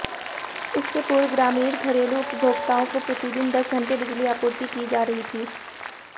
इससे पूर्व ग्रामीण घरेलू उपभोक्ताओं को प्रतिदिन दस घंटे बिजली आपूर्ति की जा रही थी